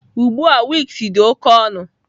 Ugbu a wigs dị oke ọnụ.